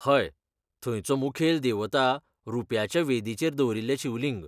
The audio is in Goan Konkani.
हय, थंयचो मुखेल देवता रुप्याच्या वेदीचेर दवरिल्लें शिवलिंग.